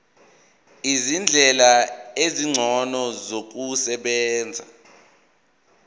izindlela ezingcono zokusebenza